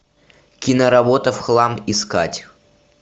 киноработа в хлам искать